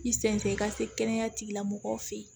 I sen tɛ i ka se kɛnɛya tigilamɔgɔw fɛ yen